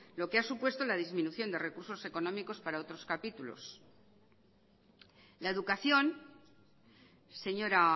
lo que ha supuesto la disminución de recursos económicos para otros capítulos la educación señora